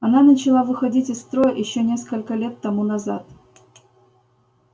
она начала выходить из строя ещё несколько лет тому назад